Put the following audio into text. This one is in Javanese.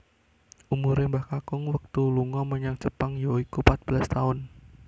Umure Mbah Kakung wektu lunga menyang Jepang yaiku patbelas taun